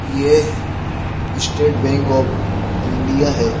येह state bank of India है।